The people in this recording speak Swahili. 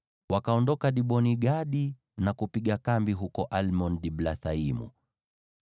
Wakaondoka Dibon-Gadi na kupiga kambi huko Almon-Diblathaimu.